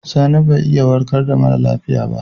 Sani bai iya warka da mara lafiya ba.